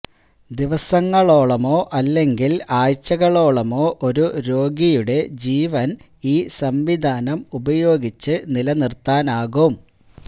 ദിവസങ്ങളോളമോ അല്ലെങ്കില് ആഴ്ചകളോളമോ ഒരു രോഗിയുടെ ജീവന് ഈ സംവിധാനം ഉപയോഗിച്ച് നിലനിര്ത്താനാകും